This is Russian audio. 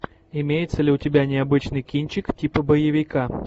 имеется ли у тебя необычный кинчик типа боевика